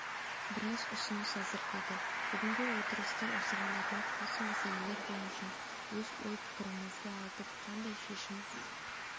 біраз ұсыныс әзірледі бүгінгі отырысты осыған арнап осы мәселелер бойынша өз ой-пікірімізді айтып қандай шешім